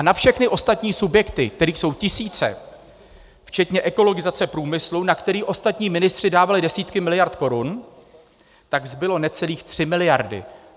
A na všechny ostatní subjekty, kterých jsou tisíce, včetně ekologizace průmyslu, na který ostatní ministři dávali desítky miliard korun, tak zbyly necelé tři miliardy.